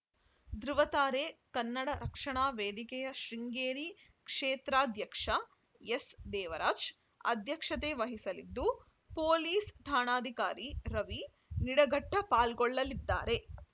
ದೃವತಾರೆ ಕನ್ನಡ ರಕ್ಷಣಾ ವೇದಿಕೆಯ ಶೃಂಗೇರಿ ಕ್ಷೇತ್ರಾಧ್ಯಕ್ಷ ಎಸ್‌ದೇವರಾಜ್‌ ಅಧ್ಯಕ್ಷತೆ ವಹಿಸಲಿದ್ದು ಪೊಲೀಸ್‌ ಠಾಣಾಧಿಕಾರಿ ರವಿ ನಿಡಘಟ್ಟಪಾಲ್ಗೊಳ್ಳಲಿದ್ದಾರೆ